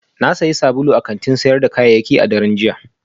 Na sayi sabulu a kantin sayar da kayayyaki a daren jiya